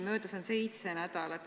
Möödas on seitse nädalat.